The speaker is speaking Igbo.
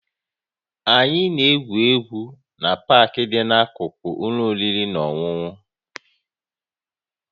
Anyị na-egwu egwu na Park dị n'akụkụ ụlọ oriri na ọṅụṅụ